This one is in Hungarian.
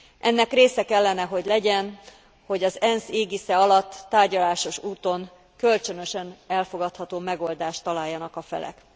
Ennek része kellene, hogy legyen, hogy az ENSZ égisze alatt, tárgyalásos úton, kölcsönösen elfogadható megoldást találjanak a felek.